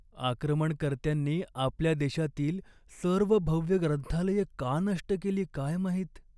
आक्रमणकर्त्यांनी आपल्या देशातील सर्व भव्य ग्रंथालये का नष्ट केली काय माहित.